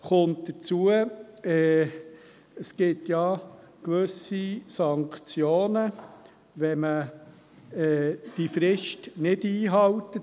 Hinzu kommt, dass es gewisse Sanktionen gibt, wenn man die Frist nicht einhält.